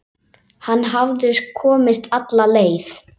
Hann hafði komist alla leið!